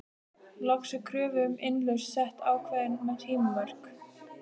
Loks er kröfu um innlausn sett ákveðin tímamörk.